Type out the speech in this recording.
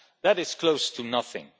That is close to nothing.